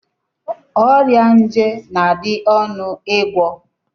Ọrịa nje na-adị ọnụ ịgwọ.